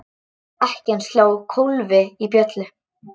Ekkjan sló kólfi í bjöllu.